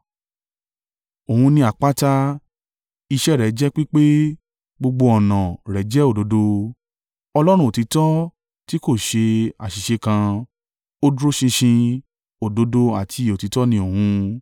Òun ni àpáta, iṣẹ́ ẹ rẹ̀ jẹ́ pípé, gbogbo ọ̀nà an rẹ̀ jẹ́ òdodo. Ọlọ́run olóòtítọ́ tí kò ṣe àṣìṣe kan, Ó dúró ṣinṣin, òdodo àti òtítọ́ ni òun.